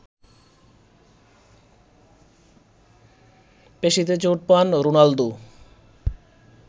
পেশিতে চোট পান রোনালদো